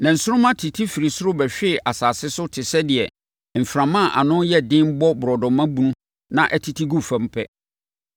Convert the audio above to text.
Na nsoromma tete firii soro bɛhwee asase so te sɛ deɛ mframa a ano yɛ den bɔ borɔdɔma bunu ma ɛtete gu fam pɛ.